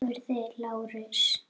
spurði Lárus.